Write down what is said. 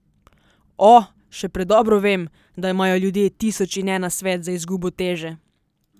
O, še predobro vem, da imajo ljudje tisoč in en nasvet za izgubo teže.